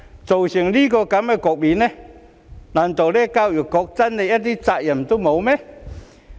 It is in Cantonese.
造成這種局面，難道教育局真的一點責任也沒有？